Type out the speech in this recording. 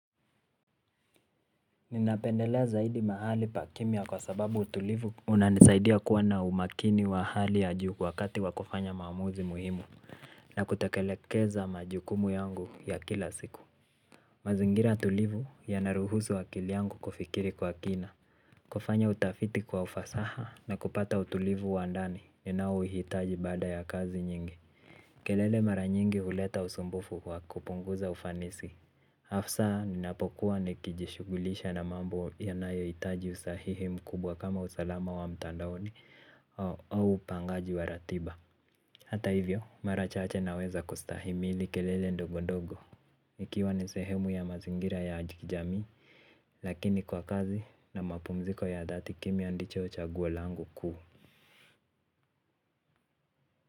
Ninapendelea zaidi mahali pa kimya kwa sababu utulivu unanisaidia kuwa na umakini wa hali ya juu wakati wa kufanya maamuzi muhimu na kutekelekeza majukumu yangu ya kila siku. Mazingira tulivu yanaruhuzu akili yangu kufikiri kwa kina kufanya utafiti kwa ufasaha na kupata utulivu wa ndani ninaouhitaji baada ya kazi nyingi. Kelele mara nyingi huleta usumbufu wa kupunguza ufanisi Hafsa, ninapokuwa nikijishughulisha na mambo yanayohitaji usahihi mkubwa kama usalama wa mtandaoni au pangaji wa ratiba. Hata hivyo, mara chache naweza kustahimili kelele ndogo ndogo. Nikiwa ni sehemu ya mazingira ya kijamii. Lakini kwa kazi na mapumziko ya dhati kimya ndicho chaguo langu kuu.